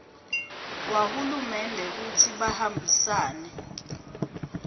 wahulumende kutsi bahambisane